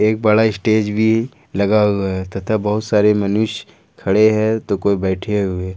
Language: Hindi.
एक बड़ा स्टेज भी लगा हुआ है तथा बहुत सारे मनुष्य खड़े हैं तो कोई बैठे हुए।